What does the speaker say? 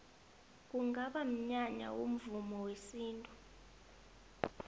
kungaba mnyanya womvumo wesintu